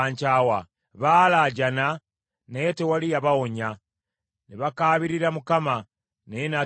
Baalaajana naye tewaali yabawonya; ne bakaabirira Mukama , naye n’atabaddamu.